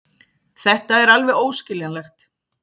Þetta er alveg óskiljanlegt.